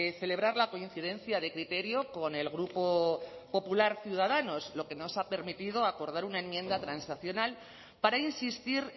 celebrar la coincidencia de criterio con el grupo popular ciudadanos lo que nos ha permitido acordar una enmienda transacional para insistir